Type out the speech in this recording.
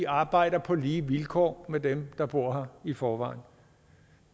arbejder på lige vilkår med dem der bor her i forvejen